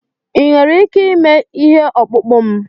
Ị nwere ike ịme ihe ọkpụkpụ m?